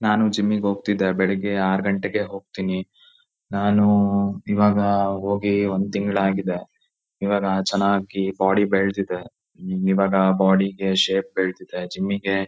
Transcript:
ನಾನು ಜಿಮ್ಮಿಗ್ ಹೋಗತ್ತಿದ್ದೆ ಬೆಳಿಗ್ಗೆ ಆರ್ ಗಂಟೆಗೆ ಹೋಗತೀನಿ ನಾನು ಇವಾಗ ಹೋಗಿ ಒಂದ್ ತಿಂಗ್ಳ್ ಆಗಿದೆ ಇವಾಗ ಚನಾಗಿ ಬಾಡಿ ಬೆಳ್ದಿದೆ ಇವಾಗ ಬಾಡಿ ಗೆ ಶೇಪ್ ಬೆಳ್ದಿದೆ ಜಿಮ್ಮಿಗೆ --